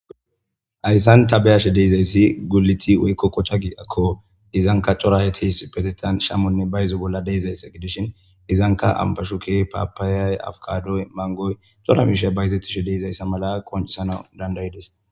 Hayisani ta beyashe dizayisi gulut woyikko quca giyakko izanikka cora asati issippetetan shamonne bayizo bayizo bola deizayisa gidishshin izanikka amibashukey,papayay manigoy cora mishay bayizetidhe deizayisa mala qoncisanasi danidaidees